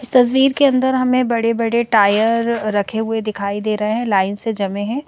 इस तस्वीर के अंदर हमें बड़े बड़े टायर रखे हुए दिखाई दे रहे हैं लाइन से जमे हैं।